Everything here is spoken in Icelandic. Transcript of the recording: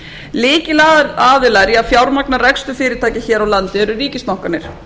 lykilaðilar í að fjármagna rekstur fyrirtækja hér á landi eru ríkisbankarnir